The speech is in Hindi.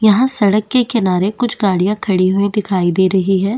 यहाँ सड़क के किनारे कुछ गाड़िया खड़ी हुई दिखाई दे रहे है।